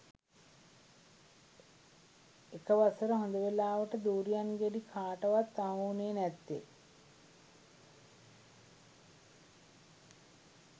එක වසර හොද වෙලාවට දුරියන් ගෙඩි කාටවත් අහුවුනේ නැත්තේ